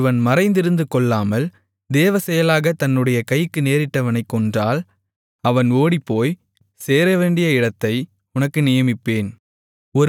ஒருவன் மறைந்திருந்து கொல்லாமல் தேவசெயலாகத் தன்னுடைய கைக்கு நேரிட்டவனைக் கொன்றால் அவன் ஓடிப்போய்ச் சேரவேண்டிய இடத்தை உனக்கு நியமிப்பேன்